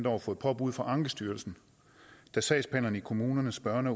år fået påbud fra ankestyrelsen da sagsbehandlerne i kommunernes børn og